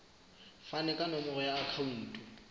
fane ka nomoro ya akhauntu